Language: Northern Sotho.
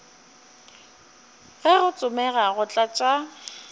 ge go tsomega go tlatša